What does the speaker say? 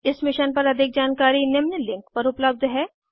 इस मिशन पर अधिक जानकारी निम्न लिंक पर उपलब्ध है